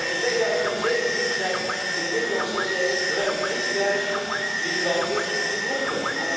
In 2017 zijn in de Middellandse Zee ruim 3000 migranten verdronken.